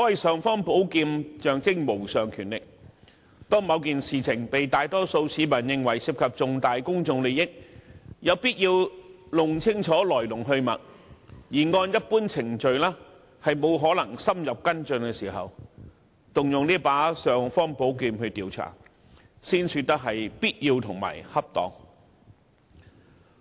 "尚方寶劍"象徵無上權力，當某件事情被大多數市民認為涉及重大公眾利益，有必要弄清楚來龍去脈，但按一般程序卻無法深入跟進的時候，便要動用這把"尚方寶劍"來調查，這樣才算必要和恰當。